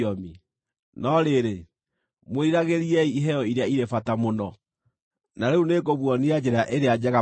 No rĩrĩ, mwĩriragĩriei iheo iria irĩ bata mũno. Wendani Na rĩu nĩngũmuonia njĩra ĩrĩa njega makĩria.